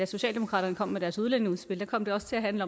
socialdemokratiet kom med deres udlændingeudspil da kom det også til at handle